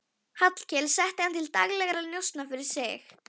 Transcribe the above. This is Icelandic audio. Hallkel setti hann til daglegra njósna fyrir sig.